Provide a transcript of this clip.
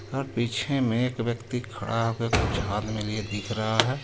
और पीछे मे एक व्यक्ति खड़ा हुआ कुछ हाथ मे लिए दिख रहा हे.